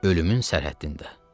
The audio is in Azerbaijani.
Ölümün sərhəddində.